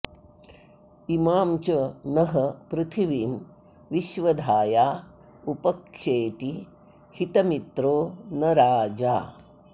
इमां च नः पृथिवीं विश्वधाया उप क्षेति हितमित्रो न राजा